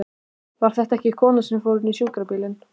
Var þetta ekki konan sem fór inn í sjúkrabílinn?